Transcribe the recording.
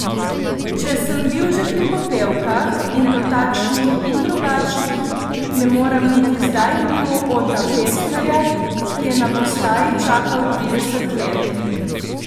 Če sem bil že pri popevkah, in to takšnih in drugačnih, ne morem niti zdaj mimo Ota Pestnerja, ki je na postaji čakal trideset let.